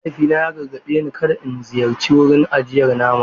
Mahaifina ya gargaɗe ni da kada in ziyarci wurin ajiyar nama.